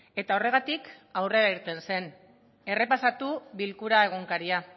eta horregatik aurrera irten zen errepasatu bilkura egunkaria